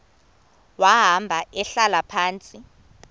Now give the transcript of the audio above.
wahamba ehlala phantsi